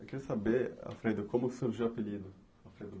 Eu queria saber, Alfredo, como surgiu o apelido, Alfredo